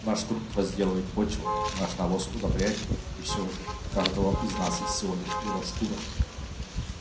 наш труд возделывает почву наш навоз удобряет её и всё же у каждого из нас есть всего лишь его шкура